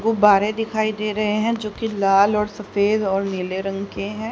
गुब्बारे दिखाई दे रहे हैं जो की लाल और सफेद और नीले रंग के हैं।